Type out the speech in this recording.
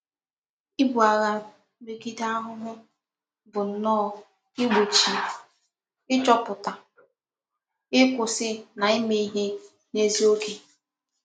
Ibu agha megide ahuhu bu nnoo Igbochi, ichoputa, ikwusi na ime ihe n'ezi oge.